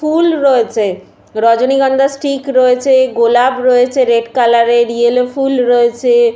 ফুল রয়েছে রজনীগন্ধা স্টিক রয়েছেগোলাপ রয়েছে রেড কালার - এরইয়েলো ফুল রয়েছে ।